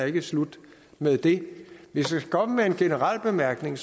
ikke er slut med det hvis jeg skal komme med en generel bemærkning